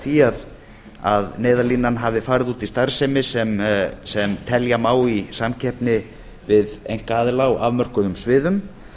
því að neyðarlínan hafi farið út í starfsemi sem telja má í samkeppni við einkaaðila á afmörkuðum sviðum